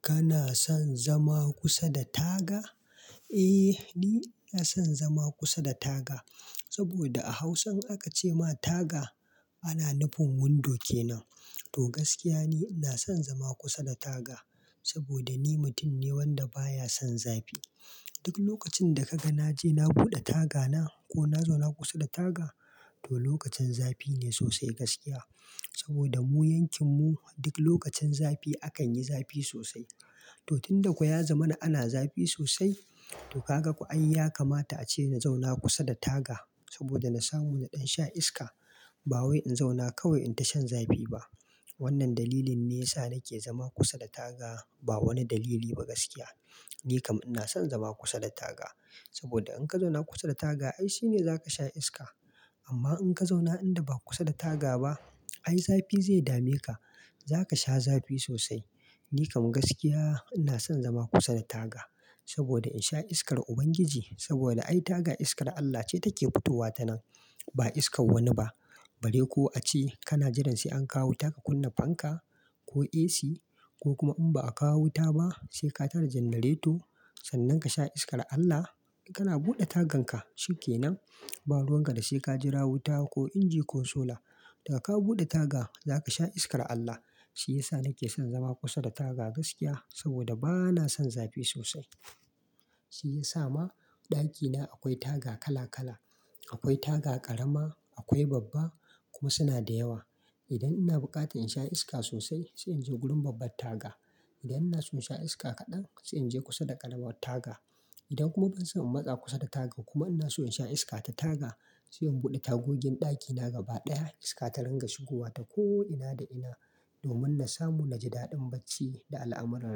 Kana son zama kusa da taga? Eh, ni na son zama kusa da taga saboda a Hausa an ce ma taga ana nufin window kenan. To gaskiya ne, ina son zama kusa da taga saboda ni mutum ne wanda baya son zafi. Duk lokacin da kaga na je na buɗe tagana ko na zauna kusa da taga, to lokacin zafi ne sosai gaskiya. Saboda mu yankin mu duk lokacin zafi akan yi zafi sosai. To tun da kuwa ya zamana ana zafi sosai, to ka ga kuwa an yi yakamata a ce na zauna kusa da taga saboda na samu na sha iska. Ba wai in zauna kawai in ta shan zafi ba. Wannan dalilin ne yasa nake zama kusa da taga ba wani dalili ba gaskiya. Ni kam ina son zama kusa da taga saboda in ka zauna kusa da taga ai shi ne za ka sha iska. Amma in ka zauna inda ba kusa da taga ba ai zafi zai dame ka. Za ka sha zafi sosai. Ni kam gaskiya ina son zama kusa da taga saboda in sha iskar Ubangiji saboda ai taga iskar Allah ce take fitowa ta nan ba iskar wani ba. Bari ko a ce kana jiran sai an kawo ta ka kunna fanka ko AC ko kuma in ba a kawo wuta ba sai ka tara janareto sannan ka sha iskar Allah. Kana buɗe tagan ka shi kenan. Ba ruwan ka da sai ka jira wuta ko inji ko solar. Da ka buɗe taga za ka sha iskar Allah. Shi ya sa nake son zama kusa da taga gaskiya saboda ba na son zafi sosai. Shi ya sa ma ɗakina akwai taga kala kala. Akwai taga ƙarama, akwai babba kuma suna da yawa. Idan ina buƙatar in sha iska sosai sai in je gurin babbar taga. Idan ina so in sha iska kaɗan sai in je kusa da ƙaramar taga. Idan kuma ban son in matsa kusa da taga kuma ina so in sha iska ta taga sai in buɗe tagogin ɗakina gaba ɗaya iska ta rangwashi zuwa ta ko'ina da ina domin na samu na ji daɗin bacci da al'amuran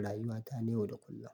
rayuwata yau da kullum.